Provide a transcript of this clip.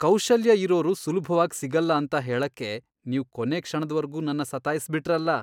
ಕೌಶಲ್ಯ ಇರೋರು ಸುಲ್ಭವಾಗ್ ಸಿಗಲ್ಲ ಅಂತ ಹೇಳಕ್ಕೆ ನೀವ್ ಕೊನೇ ಕ್ಷಣದ್ವರ್ಗೂ ನನ್ನ ಸತಾಯ್ಸ್ಬಿಟ್ರಲ್ಲ.